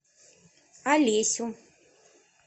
олесю